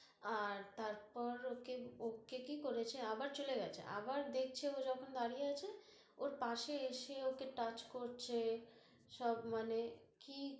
আর তারপর, ওকে, ওকে কি করেছে, আবার চলে গেছে, আবার দেখছে ও যখন দাড়িয়ে আছে, ওর পাশে এসে ওকে touch করছে, সব মানে কি